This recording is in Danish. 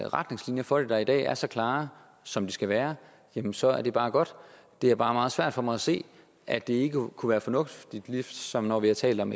retningslinjer for det der i dag er så klare som de skal være jamen så er det bare godt det er bare meget svært for mig at se at det ikke kunne være fornuftigt ligesom når vi har talt om